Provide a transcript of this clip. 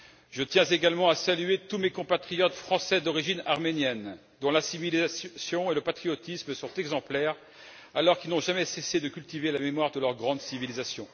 Je tiens également à saluer tous mes compatriotes français d'origine arménienne dont la civilisation et le patriotisme sont exemplaires alors qu'ils n'ont jamais cessé de cultiver la mémoire de leur grande civilisation.